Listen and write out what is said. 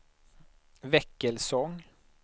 Väckelsång